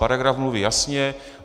Paragraf mluví jasně.